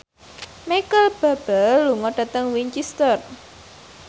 Micheal Bubble lunga dhateng Winchester